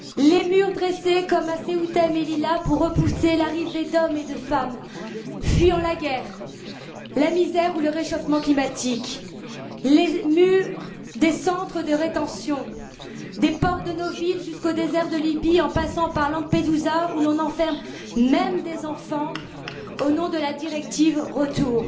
Les murs dressés comme à Ceuta et Melilla pour repousser l'arrivée d'hommes et de femmes fuyant la guerre, la misère ou le réchauffement climatique, les murs des centres de rétention, des portes de nos villes jusqu'au désert de Libye, en passant par Lampedusa où l'on enferme même des enfants au nom de la directive Retour.